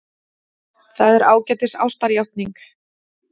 Það er ágætis ástarjátning.